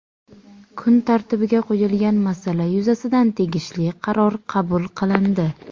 Kun tartibiga qo‘yilgan masala yuzasidan tegishli qaror qabul qilindi.